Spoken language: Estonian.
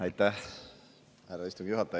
Aitäh, härra istungi juhataja!